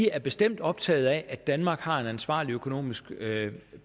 er bestemt optaget af at danmark har en ansvarlig økonomisk